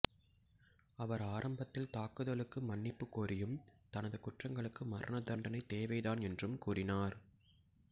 அவர் ஆரம்பத்தில் தாக்குதலுக்கு மன்னிப்பு கோரியும் தனது குற்றங்களுக்கு மரண தண்டனை தேவைதான் என்றும் கூரினார்